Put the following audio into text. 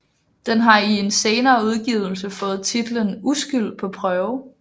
Den har i en senere udgivelse fået titlen Uskyld på prøve